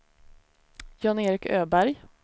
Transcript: Jan-Erik Öberg